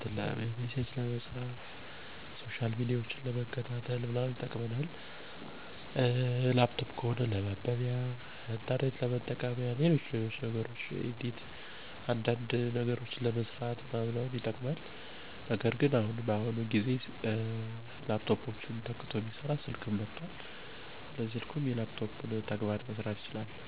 የተለያዩ የስራ ማስታወቂያዎችን ለማየት፣ ስልክ ለመደዋወል(መረጃ ለመቀያየር )፣ኮምፒውተር ደግሞ ኢሜል ለመላክ፣ CV(የህይወት ታሪክ)ለማስተካከልና ስራ ለማመልከት እጠቀምበታለሁ።